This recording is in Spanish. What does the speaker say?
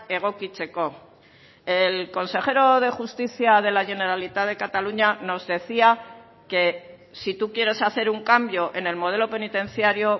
egokitzeko el consejero de justicia de la generalitat de cataluña nos decía que si tú quieres hacer un cambio en el modelo penitenciario